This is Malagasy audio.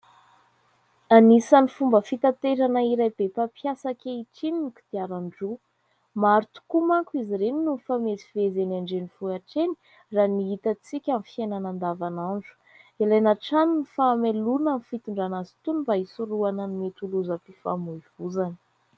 Anisan'ny fomba fitaterana iray be mpampiasa ankehitriny ny kodiaran-droa. Maro tokoa manko izy ireny no mifamezivezy eny andrenivohitra eny raha ny hitantsika amin'ny fiainana andavanandro. Ilaina hatrany ny fahamailoana amin'ny fitondrana azy tony mba hisorohana ny mety ho lozam-pifamoivoizana.